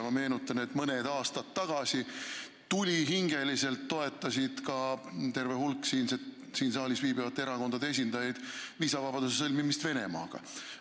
Ma meenutan, et mõned aastad tagasi toetas ka terve hulk siin saalis viibivaid erakondade esindajaid tulihingeliselt viisavabaduse sõlmimist Venemaaga.